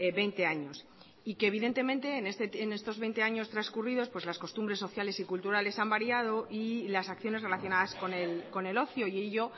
veinte años y que evidentemente en estos veinte años transcurridos las costumbres sociales y culturales han variado y las acciones relacionadas con el ocio y ello